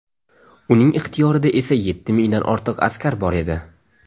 Uning ixtiyorida esa yetti mingdan ortiq askar bor edi.